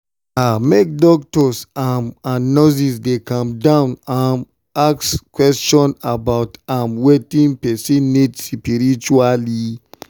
ah make doctors um and nurses dey calm um down ask question about um wetin person need spritually.